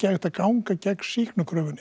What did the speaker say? hægt að ganga gegn